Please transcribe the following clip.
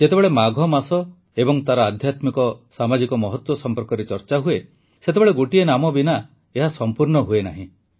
ଯେତେବେଳେ ମାଘ ମାସ ଏବଂ ତାର ଆଧ୍ୟାତ୍ମିକ ସାମାଜିକ ମହତ୍ୱ ସଂପର୍କରେ ଚର୍ଚ୍ଚା ହୁଏ ସେତେବେଳେ ଗୋଟିଏ ନାମ ବିନା ଏହା ସଂପୂର୍ଣ୍ଣ ହୁଏ ନାହିଁ